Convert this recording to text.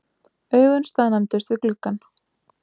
Augun staðnæmdust við gluggann.